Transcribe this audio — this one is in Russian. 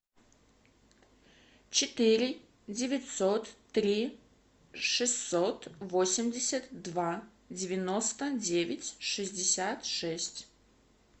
четыре девятьсот три шестьсот восемьдесят два девяносто девять шестьдесят шесть